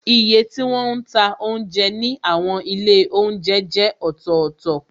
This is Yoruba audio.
Iye tí wọn ń ta oúnjẹ ní àwọn ilé oúnjẹ jẹ́ ọ̀tọ̀tọ̀,